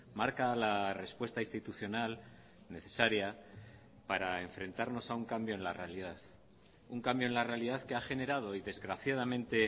marca la respuesta institucional necesaria para enfrentarnos a un cambio en la realidad un cambio en la realidad que ha generado y desgraciadamente